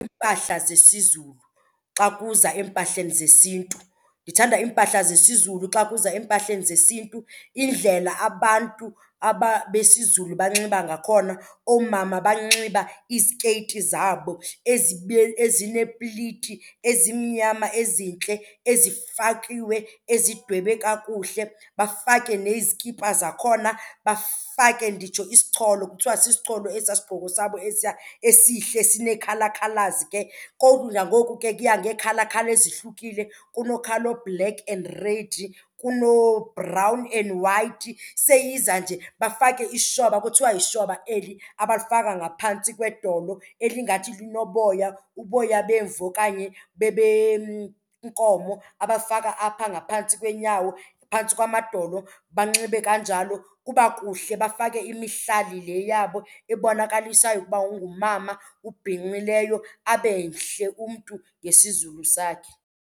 Iimpahla zesiZulu xa kuza empahleni zesiNtu. Ndithanda iimpahla zesiZulu xa kuza empahleni zesiNtu. Indlela abantu aba besiZulu banxiba ngakhona, oomama banxiba izikeyiti zabo ezineepliti ezimnyama ezintle ezifakiwe ezidwebwe kakuhle. Bafake nezikipa zakhona, bafake nditsho isicholo, kuthiwa sisicholo esaa sigqoko sabo esiya esihle sinee-colour colours ke. Koku kudla ngoku ke kuya ngee-colour colour ezihlukile, kuno-colour o-black and red, kunoo-brown and white. Seyiza nje bafake ishwaba, kuthiwa yishwaba eli abalifaka ngaphantsi kwedolo elingathi linoboya, uboya bemvu okanye benkomo abafaka apha ngaphantsi kweenyawo phantsi kwamadolo banxibe kanjalo. Kuba kuhle bafake imihlali le yabo ebonakalisayo ukuba ungumama ubhinqileyo, abe mhle umntu ngesiZulu sakhe.